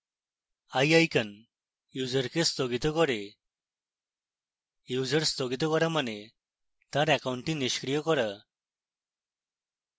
eye icon ইউসারকে স্থগিত করবে user স্থগিত করা মানে তার অ্যাকাউন্টটি নিষ্ক্রিয় করা